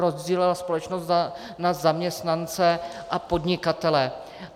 Rozdělila společnost na zaměstnance a podnikatele.